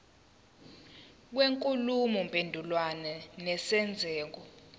kwenkulumo mpendulwano nesenzeko